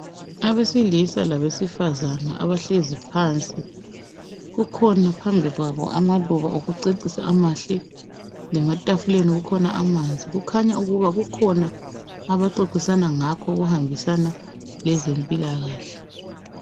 Abesilisa labesifazana abahlezi phansi kukhona phambi kwabo amaluba okucecisa amahle lematafuleni kukhona amanzi. Kukhanyaukuba kukhona abaxoxisana ngakho okuhambisana lezempilakahle